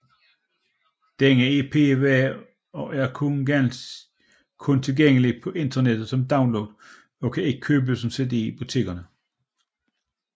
Denne EP var og er kun tilgængelig på internettet som download og kan ikke købes som CD i butikkerne